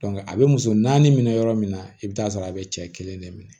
a bɛ muso naani minɛ yɔrɔ min na i bɛ taa sɔrɔ a bɛ cɛ kelen de minɛ